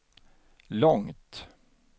långt